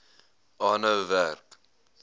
aanhou werk